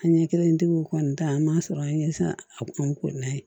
An ɲɛ kelentigiw kɔni ta an b'a sɔrɔ an ye se a kun ko n'an ye